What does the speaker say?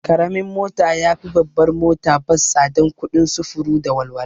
Karamin mota yafi babbar mota bas tsadan kuɗin sufuru da walwala